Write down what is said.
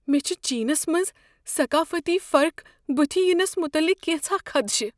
مے٘ چھ چینس منٛز ثقافتی فرق بتھہِ ینس متعلق كینژھا خدشہ۔